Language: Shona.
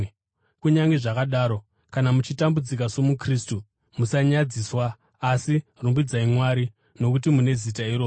Kunyange zvakadaro, kana muchitambudzika somuKristu, musanyadziswa, asi rumbidzai Mwari nokuti mune zita iroro.